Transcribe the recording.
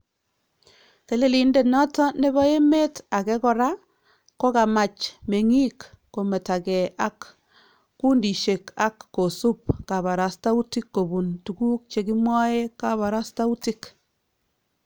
Telelindet noton nebo emeet akee koraa kokamaach meeng'iik kometakee ak kuundisyeek ak kosuub kabarastautik kobuun tukuk chekimwae kabarastautik